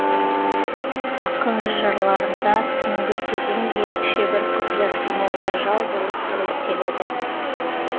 ақын жырларында түнгі кезең ерекше бір құпиясы мол тажал болып суреттеледі